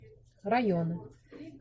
районы